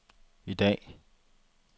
i dag